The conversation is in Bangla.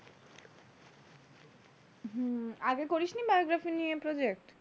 হম আগে করিস নি biography নিয়ে project,